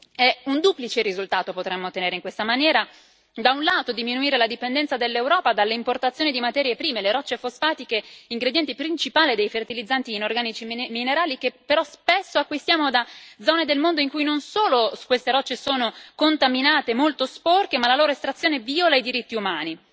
E in questa maniera potremmo ottenere un duplice risultato da un lato diminuire la dipendenza dell'Europa dalle importazioni di materie prime, quali le rocce fosfatiche, ingrediente principale dei fertilizzanti inorganici minerali, che però spesso acquistiamo da zone del mondo in cui non solo queste rocce sono contaminate e molto sporche, ma nei quali la loro estrazione viola i diritti umani.